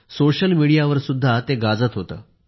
social मीडियावर सुद्धा ते गाजत होते